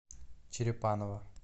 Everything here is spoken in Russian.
черепаново